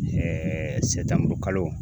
sɛtanburukalo